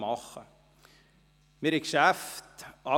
Wir brachten alle Geschäfte durch.